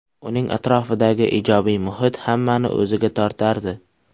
Uning atrofidagi ijobiy muhit hammani o‘ziga tortardi.